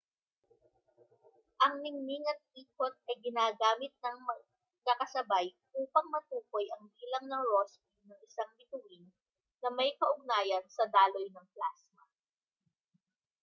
ang ningning at ikot ay ginagamit nang magkakasabay upang matukoy ang bilang na rosby ng isang bituin na may kaugnayan sa daloy ng plasma